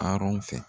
Arɔn fɛ